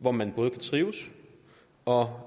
hvor man både kan trives og